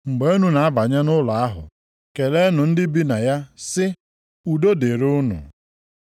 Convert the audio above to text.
Mgbe unu na-abanye nʼụlọ ahụ, keleenụ ndị bi na ya sị, udo dịrị unu.